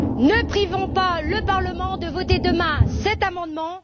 Ne privons pas le Parlement de voter demain cet amendement!